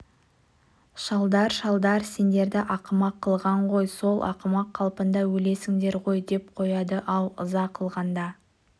шалдар шалдар сендерді ақымақ қылған ғой сол ақымақ қалпыңда өлесіңдер ғой деп қояды-ау ыза қылғанда